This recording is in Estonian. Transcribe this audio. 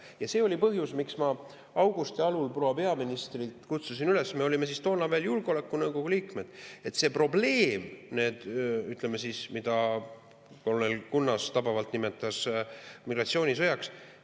Ja see oli põhjus, miks ma augusti algul proua peaministrit kutsusin üles – me olime toona veel julgeolekunõukogu liikmed –, et see on probleem, mida Leo Kunnas tabavalt nimetas migratsioonisõjaks.